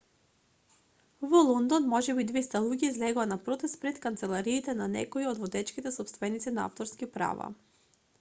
во лондон можеби 200 луѓе излегоа на протест пред канцелариите на некои од водечките сопственици на авторски права